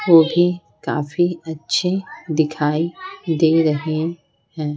वो भी काफी अच्छे दिखाई दे रहे हैं।